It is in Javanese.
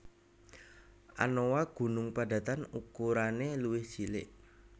Anoa gunung padatan ukurane luwih cilik